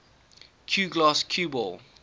cuegloss cue ball